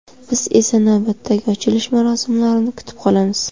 Biz esa navbatdagi ochilish marosimlarini kutib qolamiz!